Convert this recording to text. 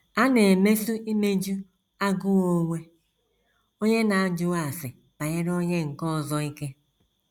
A na - emesi imeju agụụ onwe onye n’ajụghị ase banyere onye nke ọzọ ike.